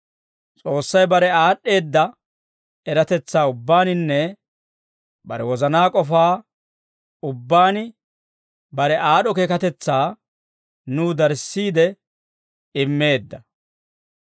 S'oossay bare aad'd'eedda eratetsaa ubbaaninne bare wozanaa k'ofaa ubbaan bare aad'd'o keekatetsaa nuw darissiide immeedda.